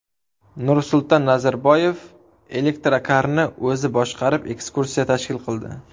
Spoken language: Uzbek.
Nursulton Nazarboyev elektrokarni o‘zi boshqarib ekskursiya tashkil qildi.